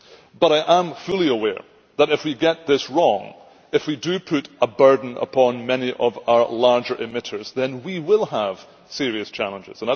But I am fully aware that if we get this wrong, and if we do put a burden upon many of our larger emitters, then we will have serious challenges.